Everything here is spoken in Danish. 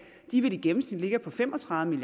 i gennemsnit ligger på fem og tredive